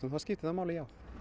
þá skiptir það máli já